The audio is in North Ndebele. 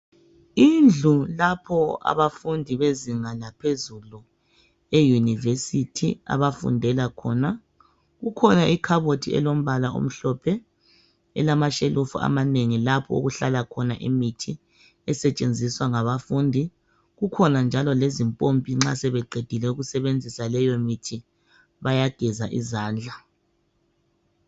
Indlu lapho abafundi bezinga laphezulu e university, abafundela khona, kukhona ikhabothi elombala omhlophe elamashelufu amanengi lapho okuhlala khona imithi esetshenziswa ngabafundi. Kukhona njalo lezimpompi nxa sebeqedile ukusebenzisa leyomithi bayageza izandla